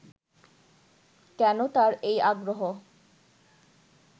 কেন তার এই আগ্রহ